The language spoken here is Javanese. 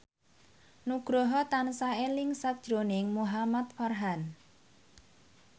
Nugroho tansah eling sakjroning Muhamad Farhan